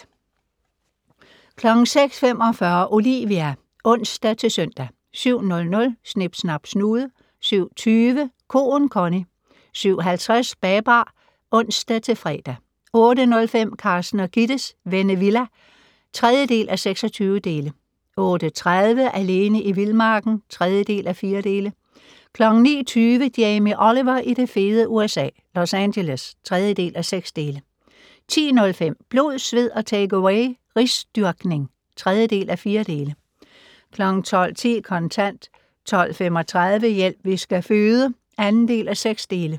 06:45: Olivia (ons-søn) 07:00: Snip Snap Snude 07:20: Koen Connie 07:50: Babar (ons-fre) 08:05: Carsten og Gittes Vennevilla (3:26) 08:30: Alene i vildmarken (3:4) 09:20: Jamie Oliver i det fede USA - Los Angeles (3:6) 10:05: Blod, sved og takeaway - risdyrkning (3:4) 12:10: Kontant 12:35: Hjælp, vi skal føde (2:6)